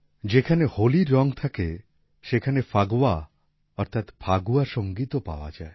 যেখানে হোলির রং থাকে সেখানে ফাগওয়া অর্থাৎ ফাগুয়া সঙ্গীতও পাওয়া যায়